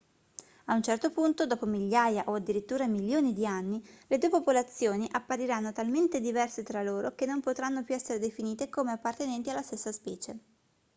a un certo punto dopo migliaia o addirittura milioni di anni le due popolazioni appariranno talmente diverse tra loro che non potranno più essere definite come appartenenti alla stessa specie